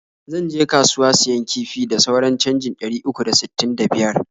zan je kasuwa siyan kifi da sauran canjin ɗari uku da sttin da biyar.